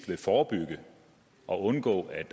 vil forebygge og undgå at